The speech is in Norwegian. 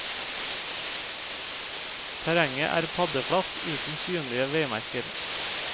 Terrenget er paddeflatt uten synlige veimerker.